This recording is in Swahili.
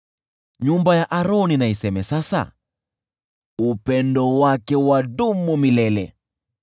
Nyumba ya Aroni na iseme sasa: “Upendo wake wadumu milele.”